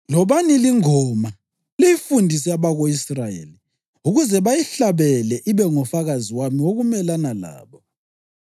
Lobani lingoma liyifundise abako-Israyeli ukuze bayihlabele ibe ngufakazi wami wokumelana labo.